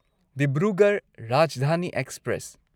Dibrugarh Rajdhani express